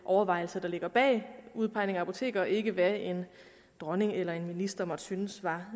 overvejelser der ligger bag udpegningen af apotekere og ikke hvad en dronning eller en minister måtte synes var